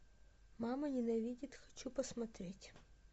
мама ненавидит хочу посмотреть